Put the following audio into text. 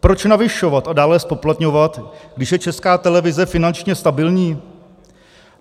Proč navyšovat a dále zpoplatňovat, když je Česká televize finančně stabilní?